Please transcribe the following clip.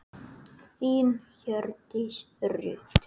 Þín, Hjördís Rut.